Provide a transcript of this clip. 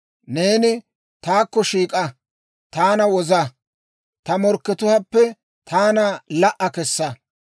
Neeni taakko shiik'a; taana woza; ta morkkatuwaappe taana la"a kesa.